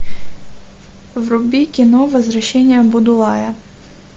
вруби кино возвращение будулая